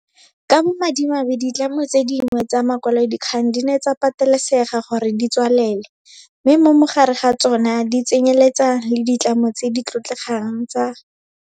Ka bo madimabe ditlamo tse dingwe tsa makwalodikgang di ne tsa patelesega gore di tswalele, mme mo gare ga tsona di tsenyeletsa le ditlamo tse di tlotlegang tsa